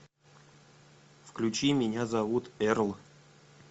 включи меня зовут эрл